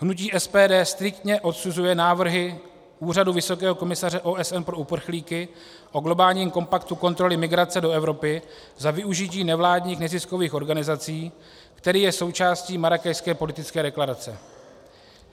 Hnutí SPD striktně odsuzuje návrhy Úřadu vysokého komisaře OSN pro uprchlíky o globálním kompaktu kontroly migrace do Evropy za využití nevládních neziskových organizací, který je součástí Marrákešské politické deklarace.